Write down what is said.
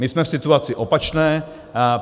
My jsme v situaci opačné.